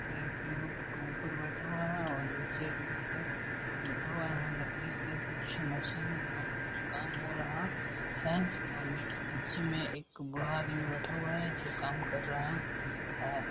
एक युवक को ऊपर बैठा हुआ है और नीचे एक है बैठा हुआ है लकड़ी का कुछ मशीन है जहा पे कुछ काम हो रहा है और नीच- नीचे में एक बूढ़ा आदमी बैठा हुआ है जो काम कर रहा है।